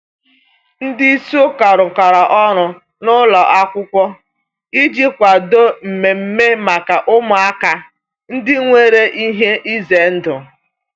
Ndị isi ụka rụkọrọ ọrụ na ụlọ akwụkwọ iji kwadoo mmemme maka ụmụaka ndị nwere ihe ize ndụ.